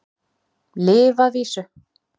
Lyf að vísu.